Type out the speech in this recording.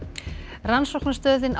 rannsóknastöðin á